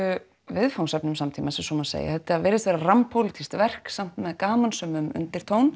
viðfangsefnum samtímans ef svo má segja þetta virðist vera rammpólitískt verk samt með gamansömum undirtón